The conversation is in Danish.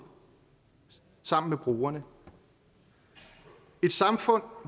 sammen med brugerne et samfund